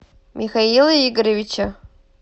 михаила игоревича